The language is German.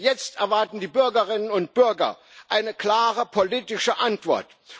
Jetzt erwarten die Bürgerinnen und Bürger eine klare politische Antwort.